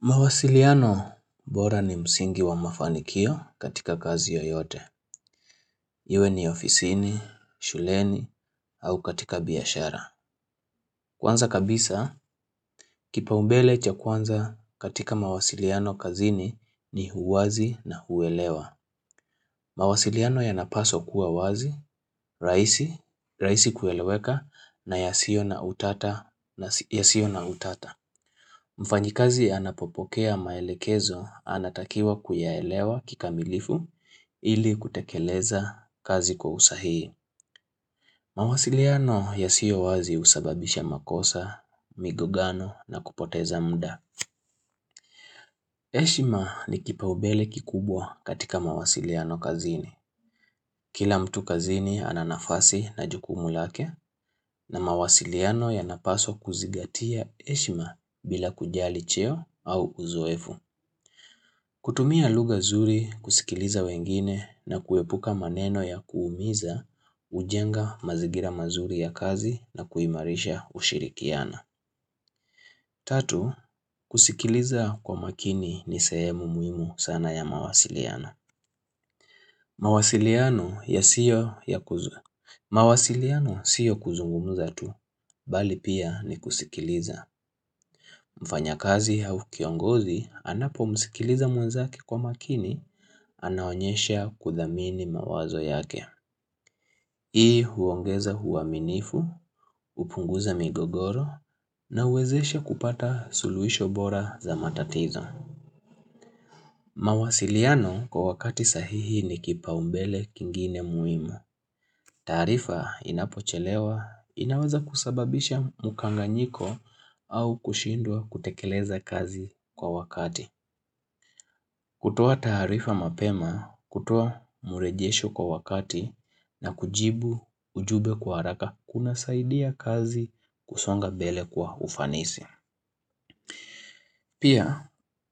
Mawasiliano bora ni msingi wa mafanikio katika kazi yoyote Iwe ni ofisini, shuleni, au katika biashara Kwanza kabisa, kipaumbele cha kwanza katika mawasiliano kazini ni uwazi na kuelewa mawasiliano yanapaswa kuwa wazi, rahisi, rahisi kueleweka na ya sio na utata na ya sio na utata. Mfanyikazi anapopokea maelekezo anatakiwa kuyaelewa kikamilifu ili kutekeleza kazi kwa usahihi. Mawasiliano ya sio wazi husababisha makosa, migogano na kupoteza muda. Heshima ni kipaubele kikubwa katika mawasiliano kazini. Kila mtu kazini ana nafasi na jukumu lake na mawasiliano yana paswa kuzingatia heshima bila kujali cheo au uzoefu kutumia lugha zuri kusikiliza wengine na kuepuka maneno ya kuumiza hujenga mazingira mazuri ya kazi na kuimarisha kushirikiana Tatu, kusikiliza kwa makini ni sehemu muhimu sana ya mawasiliano mawasiliano sio kuzungumuza tu Bali pia ni kusikiliza mfanyakazi au kiongozi anapo msikiliza mwenzake kwa makini anaonyesha kudhamini mawazo yake. Hii huongeza uaminifu, hupunguza migogoro na huwezesha kupata suluhisho bora za matatizo. Mawasiliano kwa wakati sahihi ni kipaumbele kingine muhimu. Taarifa inapochelewa inaweza kusababisha mkanganyiko au kushindwa kutekeleza kazi kwa wakati. Kutoa taarifa mapema, kutoa murejesho kwa wakati na kujibu ujumbe kwa haraka kuna saidia kazi kusonga mbele kwa ufanisi. Pia,